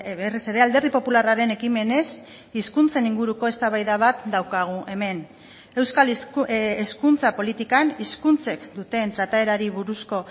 berriz ere alderdi popularraren ekimenez hizkuntzen inguruko eztabaida bat daukagu hemen euskal hezkuntza politikan hizkuntzek duten trataerari buruzko